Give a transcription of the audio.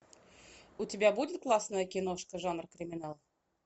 у тебя будет классная киношка жанр криминал